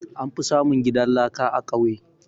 An fi samun gidan laka a ƙauye